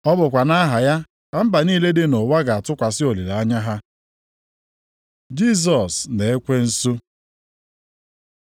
Ọ bụkwa nʼaha ya ka mba niile dị nʼụwa ga-atụkwasị olileanya ha.” + 12:21 \+xt Aịz 42:1-4\+xt* Jisọs na ekwensu